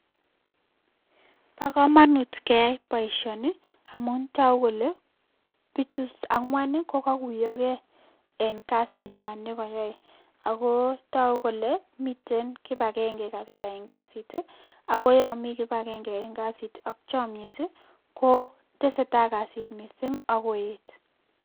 Bokomonut keyai boishoni amun toku kolee bichu ang'wani ko kokuyokei en kasit inywan nekoyoe akoo tokukolee miten kibakenge kabisa eng kasiti akoyomi kibakenge eng kasit ak chomnyet koteseta kasit missing akoet.